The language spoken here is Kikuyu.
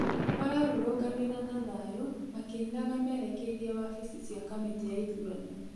Mararũrũnganĩre na thayũ makĩinaga merekeire wabici cĩa kamĩtĩ ya ithũrano